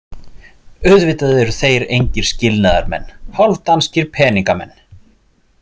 Auðvitað eru þeir engir skilnaðarmenn, hálfdanskir peningamenn.